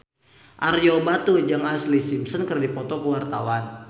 Ario Batu jeung Ashlee Simpson keur dipoto ku wartawan